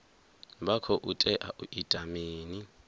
vha khou tea u ita mini